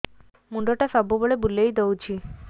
ମୁଣ୍ଡଟା ସବୁବେଳେ ବୁଲେଇ ଦଉଛି